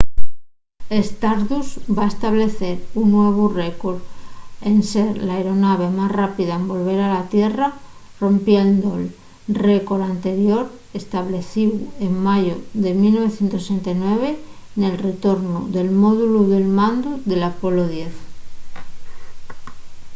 stardust va establecer un nuevu récor en ser la aeronave más rápida en volver a la tierra rompiendo’l récor anterior establecíu en mayu de 1969 nel retornu del módulu de mandu del apollo x